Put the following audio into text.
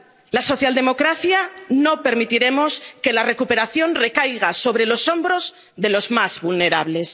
Los socialdemócratas no permitiremos que la recuperación recaiga sobre los hombros de los más vulnerables.